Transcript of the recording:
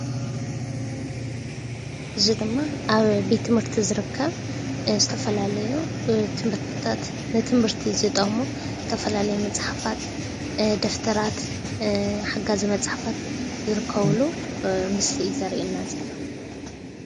እዚ ድማ ኣብ ቤት ትምህርቲ ዝርከብ ዝተፈላለዩ ንትምህርቲ ዝጠቅሙ ዝተፈላለየ መፅሓፋ፣ ደፍተራት፣ ሓጋዚ መጽሓፋት ዝርከብሉ ምስሊ እዩ ዘርእየና ዘሎ ።